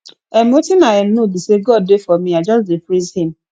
um wetin i um know be say god dey for me i just dey praise him